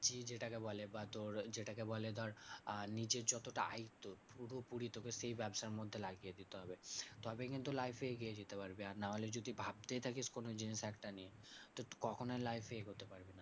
যেটাকে বলে বা তোর যেটাকে বলে ধর আহ নিজের যতটা আয়ত্ত পুরোপুরি তোকে সেই ব্যাবসার মধ্যে লাগিয়ে দিতে হবে। তবে কিন্তু life এ এগিয়ে যেতে পারবি। আর নাহলে যদি ভাবতেই থাকিস কোনো জিনিস একটা নিয়ে তো কখনো life এ এগোতে পারবি না।